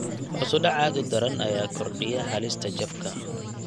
Hoos u dhac aad u daran ayaa kordhiya halista jabka.